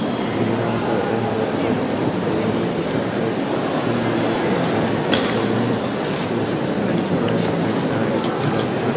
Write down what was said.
और यहाँ पर एह बर कड़ची का बोनट उठा कर इंजन में कुछ काम कर रहे है यहाँ पर ये एक टायर भी खुला हुआ है।